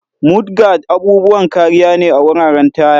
Mudguards' abubuwan kariya ne a wuraren taya.